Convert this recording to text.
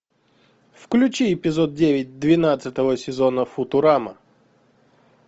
включи эпизод девять двенадцатого сезона футурама